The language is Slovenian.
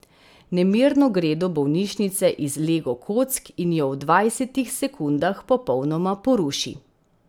Nemirno gre do bolnišnice iz lego kock in jo v dvajsetih sekundah popolnoma poruši.